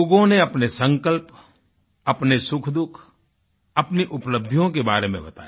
लोगों ने अपने संकल्प अपने सुखदुःख अपनी उपलब्धियों के बारे में बताया